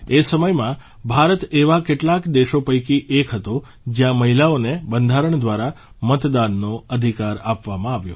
એ સમયમાં ભારત એવા કેટલાક દેશો પૈકી એક હતો જયાં મહિલાઓને બંધારણ દ્વારા મતદાનનો અધિકાર આપવામાં આવ્યો